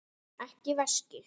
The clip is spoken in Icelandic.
Ekki veski.